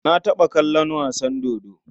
Na taɓa kallon wasa dodo.